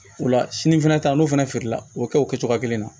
O la sini fɛnɛ ta n'o fɛnɛ feerela o kɛ o kɛ cogoya kelen na